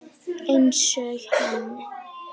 Einsog hann.